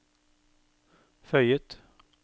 føyet